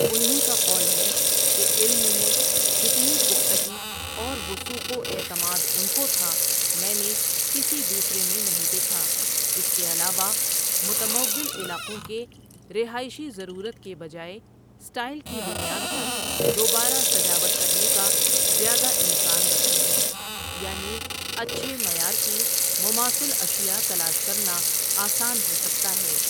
ان ہی کا قول ہے کہ علم میں جتنی پختگی اور وثوق واعتماد ان کوتھا میں نے کسی دوسرے میں نہیں دیکھا اس کے علاوہ، متمول علاقوں کے رہائشی ضرورت کے بجائے سٹائل کی بنیاد پر دوبارہ سجاوٹ کرنے کا زیادہ امکان رکھتے ہیں، یعنی اچھے معیار کی مماثل اشیاء تلاش کرنا آسان ہو سکتا ہے۔